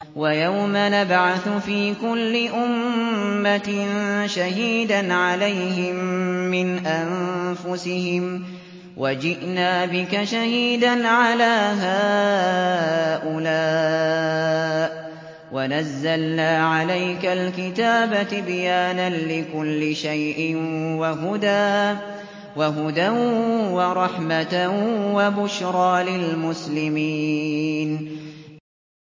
وَيَوْمَ نَبْعَثُ فِي كُلِّ أُمَّةٍ شَهِيدًا عَلَيْهِم مِّنْ أَنفُسِهِمْ ۖ وَجِئْنَا بِكَ شَهِيدًا عَلَىٰ هَٰؤُلَاءِ ۚ وَنَزَّلْنَا عَلَيْكَ الْكِتَابَ تِبْيَانًا لِّكُلِّ شَيْءٍ وَهُدًى وَرَحْمَةً وَبُشْرَىٰ لِلْمُسْلِمِينَ